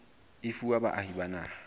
e fuwa baahi ba naha